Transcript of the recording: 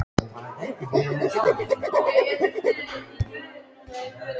Enda sagði ég með nokkrum þunga: Hvað sagði ég ekki?